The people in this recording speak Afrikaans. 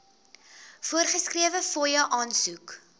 voorgeskrewe fooie aansoek